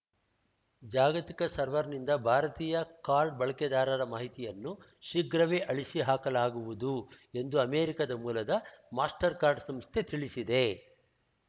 ಜಾಗತಿಕ ಸರ್ವರ್‌ನಿಂದ ಭಾರತೀಯ ಕಾರ್ಡ್‌ ಬಳಕೆದಾರರ ಮಾಹಿತಿಯನ್ನು ಶೀಘ್ರವೇ ಆಳಿಸಿ ಹಾಕಲಾಗುವುದು ಎಂದು ಅಮೆರಿಕದ ಮೂಲದ ಮಾಸ್ಟರ್‌ಕಾರ್ಡ್‌ ಸಂಸ್ಥೆ ತಿಳಿಸಿದೆ